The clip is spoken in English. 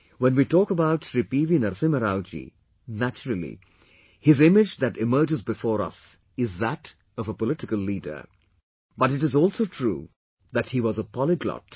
When we talk about ShriPV Narasimha Rao ji, naturally, his image that emerges before us is that of a political leader, but it is also true that he was a polyglot